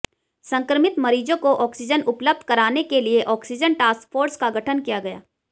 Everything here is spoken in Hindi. संक्रमित मरीजों को ऑक्सीजन उपलब्ध कराने के लिए ऑक्सीजन टास्क फोर्स का गठन किया गया